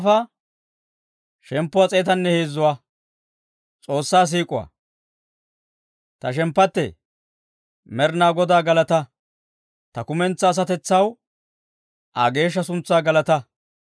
Ta shemppattee, Med'inaa Godaa galataa! Ta kumentsaa asatetsaw, Aa geeshsha suntsaa galataa.